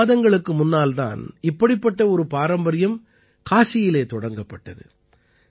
சில மாதங்களுக்கு முன்னால் தான் இப்படிப்பட்ட ஒரு பாரம்பரியம் காசியிலே தொடங்கப்பட்டது